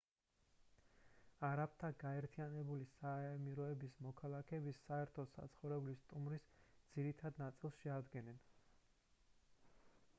არაბთა გაერთიანებული საამიროების მოქალაქეები საერთო საცხოვრებლის სტუმრების ძირითად ნაწილს შეადგენდნენ